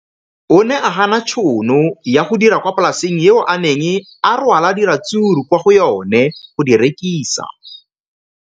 O ne a gana tšhono ya go dira kwa polaseng eo a neng rwala diratsuru kwa go yona go di rekisa.